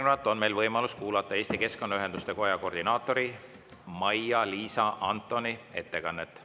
Järgnevalt on meil võimalus kuulata Eesti Keskkonnaühenduste Koja koordinaatori Maia-Liisa Antoni ettekannet.